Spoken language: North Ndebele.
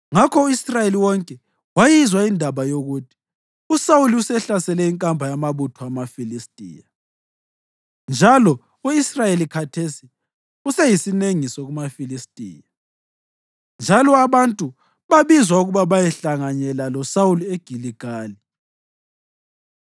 Ngakho u-Israyeli wonke wayizwa indaba yokuthi: “USawuli usehlasele inkamba yamabutho amaFilistiya, njalo u-Israyeli khathesi useyisinengiso kumaFilistiya.” Njalo abantu babizwa ukuba bayehlanganyela loSawuli eGiligali.